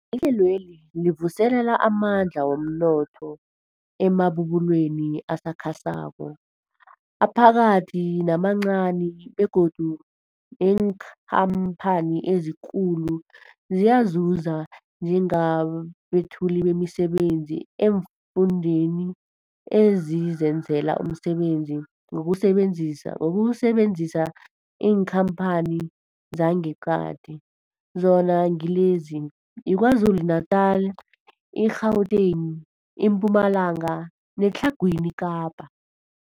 Ihlelweli livuselela amandla womnotho emabubulweni asakhasako, aphakathi namancani begodu neenkhamphani ezikulu ziyazuza njengabethuli bemisebenzi eemfundeni ezizenzela umsebenzi ngokusebenzisa iinkhamphani zangeqadi zona ngilezi, yiKwaZulu-Natala, i-Gauteng, iMpumalanga neTlhagwini Kapa.